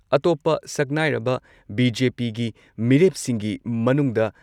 ꯑꯇꯣꯞꯄ ꯁꯛꯅꯥꯏꯔꯕ ꯕꯤ.ꯖꯦ.ꯄꯤꯒꯤ ꯃꯤꯔꯦꯞꯁꯤꯡꯒꯤ ꯃꯅꯨꯡꯗ